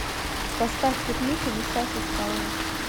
поставь пикник у висячей скалы